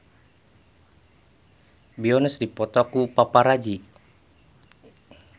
Beyonce dipoto ku paparazi